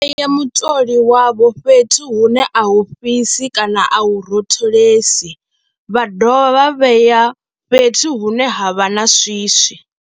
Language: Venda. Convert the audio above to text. Vha tea u vhea mutoli wavho fhethu hune a hu fhisi kana a u rotholesi, vha dovha vha vhea fhethu hune ha vha na swiswi.